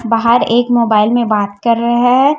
बाहर एक मोबाइल में बात कर रहे हैं।